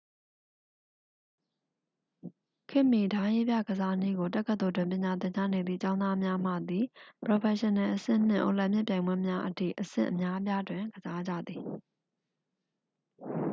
ခေတ်မှီ ဓားရေးပြကစားနည်းကို တက္ကသိုလ်တွင် ပညာသင်ကြားနေသည့် ကျောင်းသားများမှသည် ပရော်ဖက်ရှင်နယ်အဆင့်နှင့် အိုလံပစ်ပြိုင်ပွဲများအထိ အဆင့်အများအပြားတွင် ကစားကြသည်